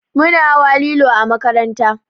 Muna hawa lilo a makaranta